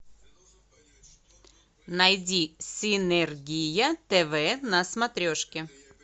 найди синергия тв на смотрешки